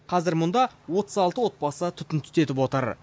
қазір мұнда отыз алты отбасы түтін түтетіп отыр